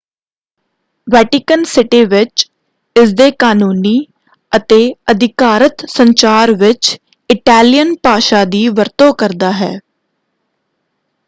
Vatican City ਵਿੱਚ ਇਸਦੇ ਕਾਨੂੰਨੀ ਅਤੇ ਅਧਿਕਾਰਤ ਸੰਚਾਰ ਵਿੱਚ ਇਟੈਲੀਅਨ ਭਾਸ਼ਾ ਦੀ ਵਰਤੋਂ ਕਰਦਾ ਹੈ।